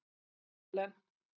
Ellen